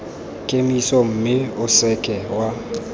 kemiso mme o seke wa